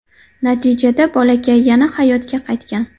Natijada bolakay yana hayotga qaytgan.